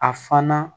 A fana